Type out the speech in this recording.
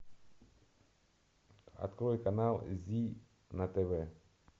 открой канал зи на тв